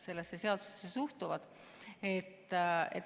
sellesse seadusesse suhtuvad.